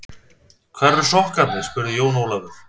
Hvar eru sokkarnir spurði Jón Ólafur.